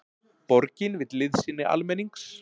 Borgin vill liðsinni almennings